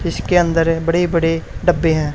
जिसके अंदर है बड़े बड़े डब्बे हैं।